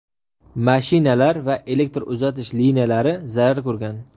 mashinalar va elektr uzatish liniyalari zarar ko‘rgan.